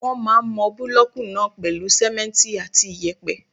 Wọ́n máà ń mọ búlọ̀kù náà pèlú simẹ́ntì àti iyẹ̀pẹ̀.